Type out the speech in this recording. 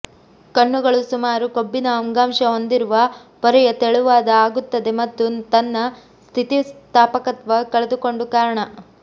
ಕಣ್ಣುಗಳು ಸುಮಾರು ಕೊಬ್ಬಿನ ಅಂಗಾಂಶ ಹೊಂದಿರುವ ಪೊರೆಯ ತೆಳುವಾದ ಆಗುತ್ತದೆ ಮತ್ತು ತನ್ನ ಸ್ಥಿತಿಸ್ಥಾಪಕತ್ವ ಕಳೆದುಕೊಂಡು ಕಾರಣ